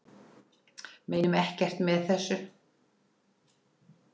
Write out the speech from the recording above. Meinum ekkert með þessu